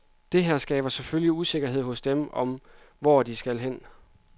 Dette her skaber selvfølgelig usikkerhed hos dem om, hvor de nu skal hen.